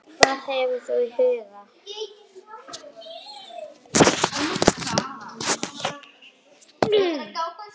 Hvað hefur þú í huga?